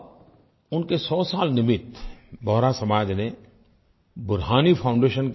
और उनके सौ साल निमित्त बोहरा समाज ने बुरहानी foundat